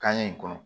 Kaɲɛ in kɔnɔ